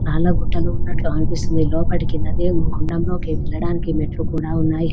చాలా గుట్టలు ఉన్నట్లు అనిపిస్తుంది. లోపటికి గుండం లోకి ఎల్లడానికి మెట్లు కూడా ఉన్నాయి.